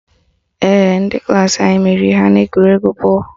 Ee, ndị klaasị anyị meriri ha n'egwuregwu bọọlụ